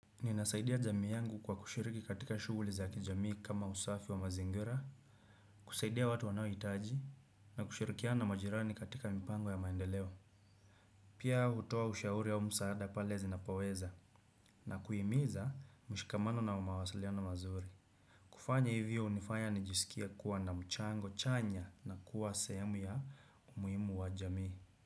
Ninasaidia jamii yangu kwa kushiriki katika shughuli za kijamii kama usafi wa mazingira, kusaidia watu wanaohitaji, na kushirikiana na majirani katika mipango ya maendeleo. Pia hutoa ushauri au msaada pale zinapo weza, na kuhimiza mshikamano na umawasaliano mazuri. Kufanya hivyo unifanya nijiskie kuwa na mchango chanya na kuwa sehemu ya umuhimu wa jamii.